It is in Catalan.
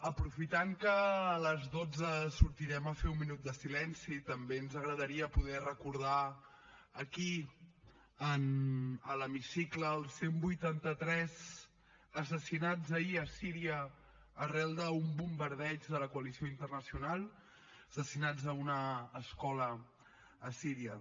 aprofitant que a les dotze sortirem a fer un minut de silenci també ens agradaria poder recordar aquí a l’hemicicle els cent i vuitanta tres assassinats ahir a síria arran d’un bombardeig de la coalició internacional assassinats a una escola a síria